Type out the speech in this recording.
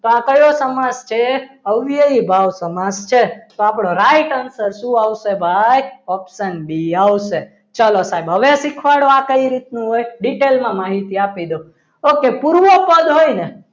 તો આ કયો સમાસ છે અવયવી ભાવ સમાસ છે તો આપણો right answer શું આવશે ભાઈ option બી આવશે ચલો સાહેબ હવે આ કઈ રીતનું detail માં માહિતી આપી દઉં okay પૂર્વ પુલ હોય ને